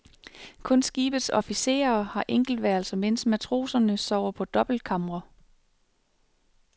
Kun skibets officerer har enkeltværelser, mens matroserne sover på dobbeltkamre.